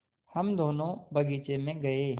हम दोनो बगीचे मे गये